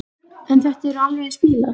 En þetta eru alveg eins bílar.